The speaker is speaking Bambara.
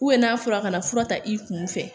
n'a fɔra a ka na fura ta i kun fɛ